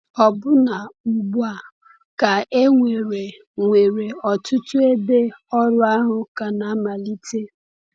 Ọbụna ugbu a, ka e nwere nwere ọtụtụ ebe ọrụ ahụ ka na-amalite.